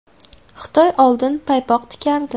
Xitoy oldin paypoq tikardi.